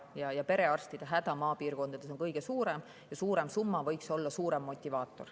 Perearstide maapiirkondades on kõige suurem ja suurem summa võiks olla suurem motivaator.